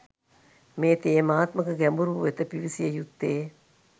මේ තේමාත්මක ගැඹුර වෙත පිවිසිය යුත්තේ.